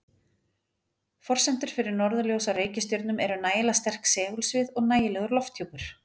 Forsendur fyrir norðurljós á reikistjörnum eru nægilega sterkt segulsvið og nægilegur lofthjúpur.